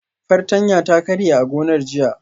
Fartanya ta karye a gonar jiya